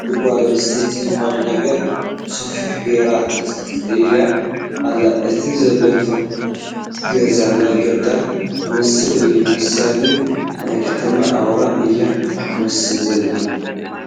ሓንቲ ጓል ኣነስተይቲ ዝኾነ ነገር ብሰፍኢ ጌራ ተፀፅይ ኣላ፡፡ እቲ ዘለቶ ገዛ ናይ ገጠር ዝመስል እዩ፡፡ ንሳ ግን ናይ ከተማ ኣውራ እያ ትመስል ዘላ፡፡